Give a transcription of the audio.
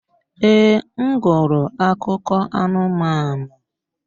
Ee, m gụrụ akụkọ anụmanụ.